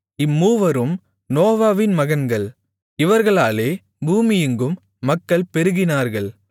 இம்மூவரும் நோவாவின் மகன்கள் இவர்களாலே பூமியெங்கும் மக்கள் பெருகினார்கள்